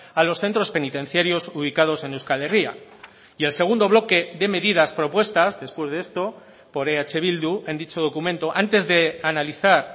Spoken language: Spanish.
a los centros penitenciarios ubicados en euskal herria y el segundo bloque de medidas propuestas después de esto por eh bildu en dicho documento antes de analizar